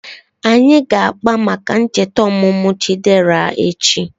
Anyị ga-akpa maka ncheta ọmụmụ Chidera echi